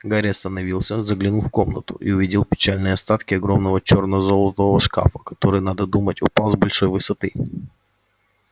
гарри остановился заглянул в комнату и увидел печальные остатки огромного чёрно-золотого шкафа который надо думать упал с большой высоты